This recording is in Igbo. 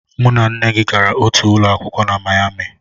Mụ na nne gị gara otu ụlọ akwụkwọ na Mayami